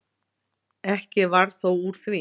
Ekki varð þó úr því.